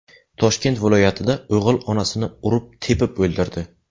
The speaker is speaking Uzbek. Toshkent viloyatida o‘g‘il onasini urib-tepib o‘ldirdi.